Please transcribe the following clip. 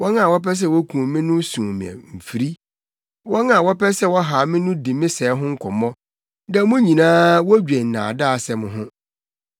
Wɔn a wɔpɛ sɛ wokum me no sum me mfiri, wɔn a wɔpɛ sɛ wɔhaw me no di me sɛe ho nkɔmmɔ da mu nyinaa wodwen nnaadaasɛm ho.